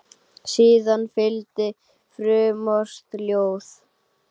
Síðan fylgdi frumort ljóð.